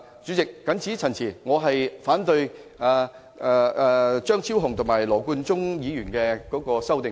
主席，我謹此陳辭，反對張超雄議員及羅冠聰議員的修正案。